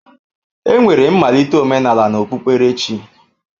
Enwere mmalite omenala na okpukperechi.